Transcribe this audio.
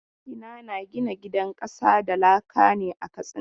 Magina na gina gidan ƙasa da laka ne a Katsina.